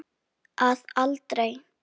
Að aldrei.